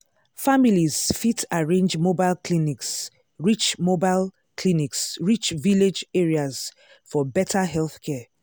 families fit arrange mobile clinics reach mobile clinics reach village areas for better healthcare.